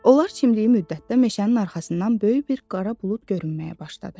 Onlar çimdiyi müddətdə meşənin arxasından böyük bir qara bulud görünməyə başladı.